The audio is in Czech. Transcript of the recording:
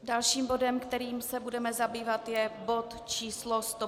Dalším bodem, kterým se budeme zabývat, je bod číslo